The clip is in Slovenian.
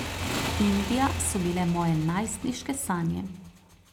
Indija so bile moje najstniške sanje.